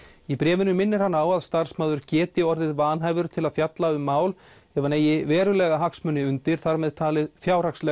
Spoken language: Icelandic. í bréfinu minnir hann á að starfsmaður geti orðið vanhæfur til að fjalla um mál ef hann eigi verulega hagsmuni undir þar með talið fjárhagslega